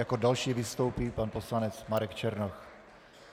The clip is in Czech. Jako další vystoupí pan poslanec Marek Černoch.